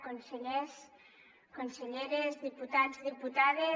consellers conselleres diputats i diputades